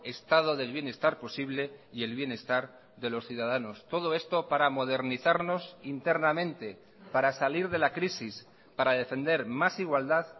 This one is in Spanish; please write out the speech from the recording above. estado del bienestar posible y el bienestar de los ciudadanos todo esto para modernizarnos internamente para salir de la crisis para defender más igualdad